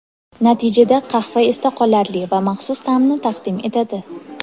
Natijada qahva esda qolarli va maxsus ta’mni taqdim etadi.